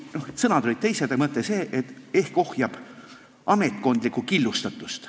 Sõnad olid teised, aga mõte oli see, et ehk see ohjab ametkondlikku killustatust.